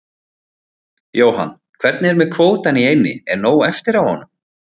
Jóhann: Hvernig er með kvótann í eynni, er nóg eftir af honum?